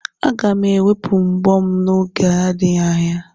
Aga m ewepụ mbọ m n'oge adịghị anya.